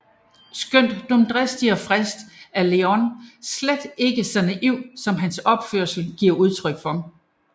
Skønt dumdristig og fræk er Leon slet ikke så naiv som hans opførsel giver udtryk for